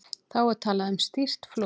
Þá er talað um stýrt flot.